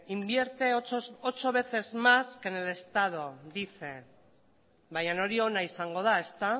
invierte ocho veces más que en el estado baina hori ona izango dela